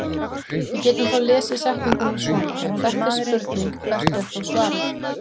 Við getum þá lesið setninguna svona: Ef þetta er spurning hvert er þá svarið?